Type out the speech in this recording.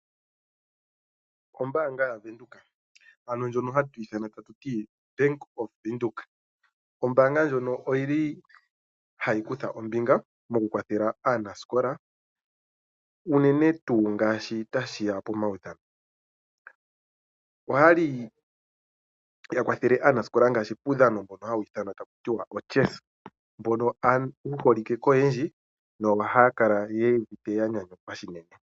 Ombaanga yaVenduka, ano oBank Windhoek Ombaanga ndjono oyi li hayi kutha ombinga mokukwathela aanasikola, unene ngele tashi ya pomaudhano. Oya li ya kwathele aanasikola muudhano woChess, mboka wu holike koyendji nohaya kala ya nyanyukwa noonkondo.